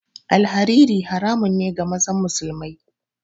Alhariri haramun ne ga mazan musulamai